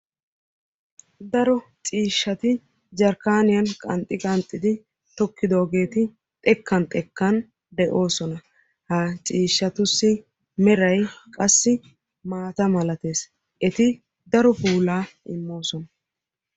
daro ciishshati jarkkaaniya qanxxi qanxxidi tokidoogee xekkan xekkan beettoosona. ha ciishshatusi meray maata malatees. eti qassi daro puulaa immoosona.